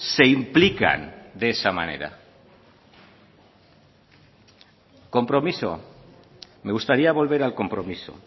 se implican de esa manera compromiso me gustaría volver al compromiso